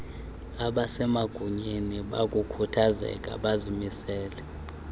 abasemagunyeni bakukhuthazeka bazimisele